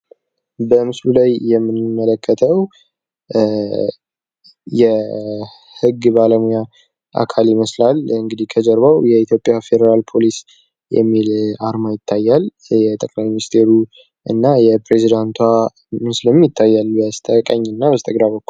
በምስሉ ላይ የምንመለከተው የህግ ባለሙያ አካል ይመስላል፤ ከበስተጀርባ የአፌደራል ፖሊስ የሚል አርማ ይታያል፤ የጠቅላይ ሚኒስቴሩ እና የፕሬዚደንቷ ምስል ይታያል በስተቀኚና በስተግራ በኩል።